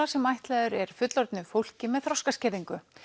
sem ætlaður er fullorðnu fólki með þroskaskerðingu